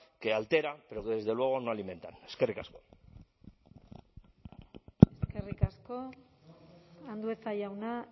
que altera pero que desde luego no alimenta eskerrik asko eskerrik asko andueza jauna